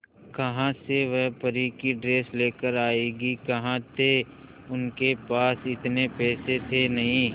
कहां से वह परी की ड्रेस लेकर आएगी कहां थे उनके पास इतने पैसे थे नही